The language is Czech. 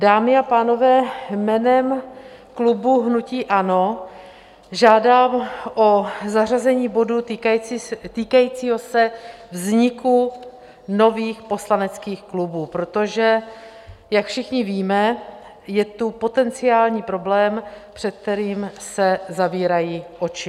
Dámy a pánové, jménem klubu hnutí ANO žádám o zařazení bodu týkajícího se vzniku nových poslaneckých klubů, protože jak všichni víme, je tu potenciální problém, před kterým se zavírají oči.